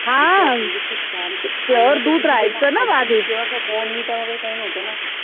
म्हणजे खूप छान तेव्हा bournvita काय वैगरे काय नव्हतं ना